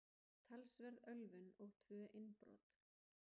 Talsverð ölvun og tvö innbrot